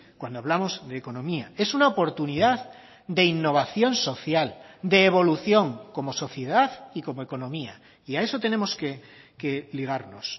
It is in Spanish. cuando hablamos de economía es una oportunidad de innovación social de evolución como sociedad y como economía y a eso tenemos que ligarnos